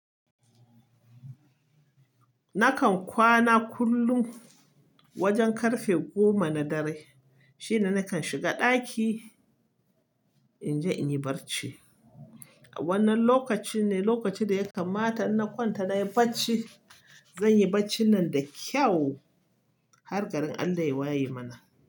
Nakan kwana kullum wajen ƙarfe goma na dare shine nakan shiga ɗaki inje in yi barci. Wannan lokaci ne lokacin da ya kammata in na kwanta nayi bacci. Zanyi bacci nan da kyau har garin Allah ya waye mana.